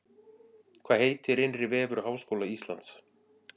Hvað heitir innri vefur Háskóla Íslands?